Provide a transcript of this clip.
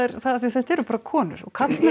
af því að þetta eru bara konur og karlmenn